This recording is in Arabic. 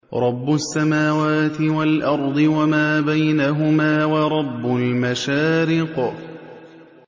رَّبُّ السَّمَاوَاتِ وَالْأَرْضِ وَمَا بَيْنَهُمَا وَرَبُّ الْمَشَارِقِ